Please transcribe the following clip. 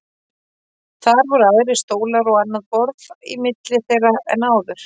Þar voru aðrir stólar og annað borð í milli þeirra en áður.